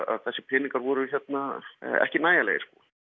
þessir peningar voru ekki nægjanlegir